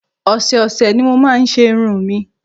Ọ̀sẹ̀ ọ̀sẹ̀ ni mo máa ń ṣe irun mi